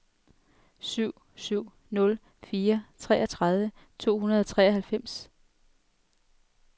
syv syv nul fire treogtredive to hundrede og treoghalvfems